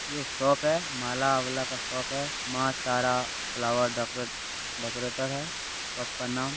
ये शॉप है माला वाला का शॉप है Maa Tara flower decorate decorator है सबका नाम --